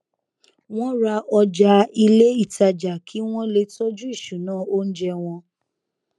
wọn ra ọjà ilé ìtajà kí wọn le tọjú ìṣúná oúnjẹ wọn